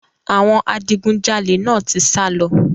Àwọn adigunjalè náà ti sá lọ.